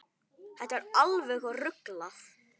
Þetta er alveg ruglað.